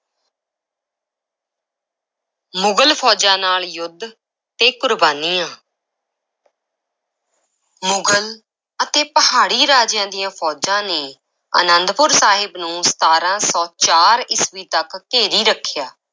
ਮੁਗਲ ਫ਼ੌਜਾਂ ਨਾਲ ਯੁੱਧ ਤੇ ਕੁਰਬਾਨੀਆਂ ਮੁਗ਼ਲ ਅਤੇ ਪਹਾੜੀ ਰਾਜਿਆਂ ਦੀਆਂ ਫ਼ੌਜਾਂ ਨੇ ਅਨੰਦਪੁਰ ਸਾਹਿਬ ਨੂੰ ਸਤਾਰਾਂ ਸੌ ਚਾਰ ਈਸਵੀ ਤੱਕ ਘੇਰੀ ਰੱਖਿਆ।